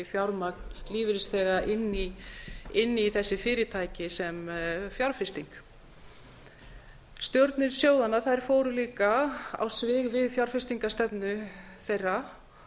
fjármagn lífeyrisþega inn í þessi fyrirtæki sem þeir fjárfestu í stjórnir sjóðanna fóru líka á svig við fjárfestingarstefnu þeirra